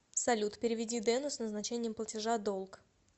салют переведи дену с назначением платежа долг